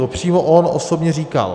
To on přímo osobně říkal.